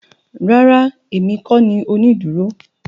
Rárá èmi kó ni onídúró